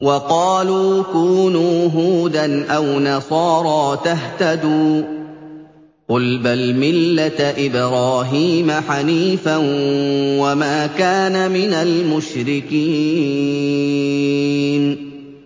وَقَالُوا كُونُوا هُودًا أَوْ نَصَارَىٰ تَهْتَدُوا ۗ قُلْ بَلْ مِلَّةَ إِبْرَاهِيمَ حَنِيفًا ۖ وَمَا كَانَ مِنَ الْمُشْرِكِينَ